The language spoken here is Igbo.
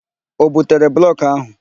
O butere blọkụ ahụ?